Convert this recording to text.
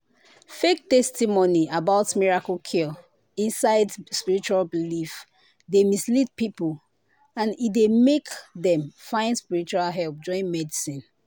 fake testimony about miracle cure inside spiritual belief dey mislead people and e dey make dem find spiritual help join medicine."